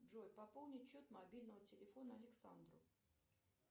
джой пополнить счет мобильного телефона александру